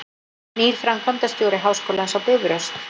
Nýr framkvæmdastjóri Háskólans á Bifröst